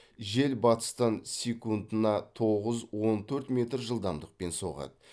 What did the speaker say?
жел батыстан секундына тоғыз он төрт метр жылдамдықпен соғады